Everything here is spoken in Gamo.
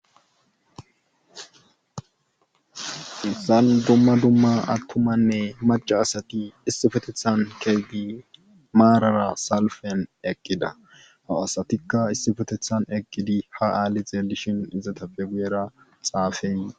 issan dumma dumma attumanne maca asati issifetethan keggi maarara salfen eqqida ha asatikka issifetethan eqqidi ha aali zeelishin izata fe guyera xaafen